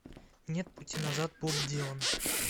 нет пути назад боб дилан